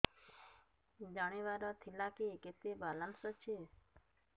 ଜାଣିବାର ଥିଲା କି କେତେ ବାଲାନ୍ସ ଅଛି